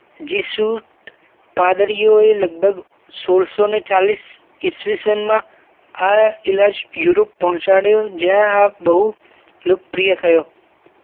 લગભગ સોડ સૌ ને ચાલીસ ઈસવીસન માં આ ઈલાજ યુરોપ પહોંચાડ્યો જય આ બહુ લોકપ્રિય થયો